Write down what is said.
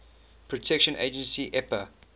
protection agency epa